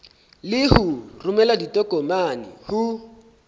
le ho romela ditokomane ho